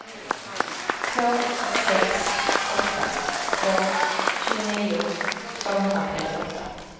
två sex åtta två tjugonio tvåhundratrettioåtta